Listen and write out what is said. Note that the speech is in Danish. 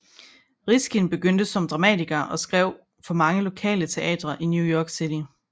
Riskin begyndte som dramatiker og skrev for mange lokale teatre i New York City